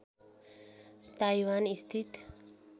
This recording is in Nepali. ताइवान स्थित